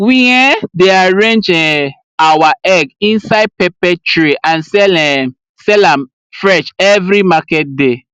we um dey arrange um our egg inside pepper tray and sell um sell am fresh every market day